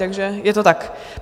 Takže je to tak.